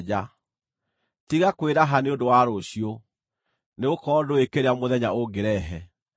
Tiga kwĩraha nĩ ũndũ wa rũciũ, nĩgũkorwo ndũũĩ kĩrĩa mũthenya ũngĩrehe.